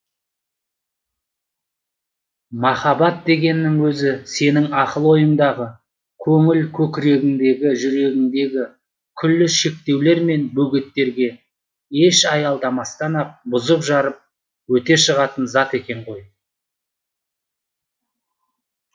махаббат дегенің өзі сенің ақыл ойыңдағы көңіл көкірегіңдегі жүрегіңдегі күллі шектеулер мен бөгеттерге еш аялдамастан ақ бұзып жарып өте шығатын зат екен ғой